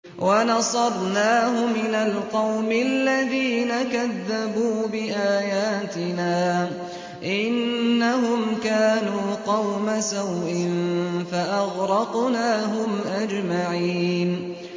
وَنَصَرْنَاهُ مِنَ الْقَوْمِ الَّذِينَ كَذَّبُوا بِآيَاتِنَا ۚ إِنَّهُمْ كَانُوا قَوْمَ سَوْءٍ فَأَغْرَقْنَاهُمْ أَجْمَعِينَ